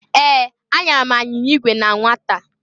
Ee! Anyara m anyịnya igwe na nwata.